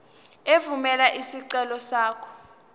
evumela isicelo sakho